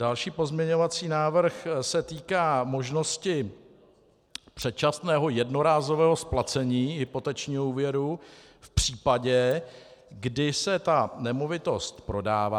Další pozměňovací návrh se týká možnosti předčasného jednorázového splacení hypotečního úvěru v případě, kdy se ta nemovitost prodává.